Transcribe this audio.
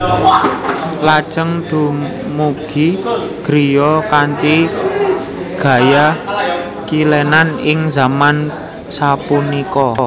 Lajeng dumugi griya kanthi gaya kilenan ing zaman sapunika